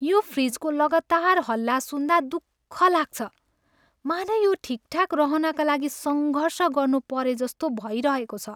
यो फ्रिजको लगातार हल्ला सुन्दा दुख लाग्छ, मानौँ यो ठिकठाक रहनाका लागि सङ्घर्ष गर्नु परेजस्तो भइरहेको छ।